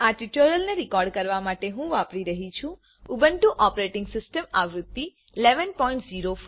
આ ટ્યુટોરીયલને રેકોર્ડ કરવા માટે હું વાપરી રહ્યી છું ઉબુન્ટુ ઓપરેટીંગ સીસ્ટમ આવૃત્તિ 1104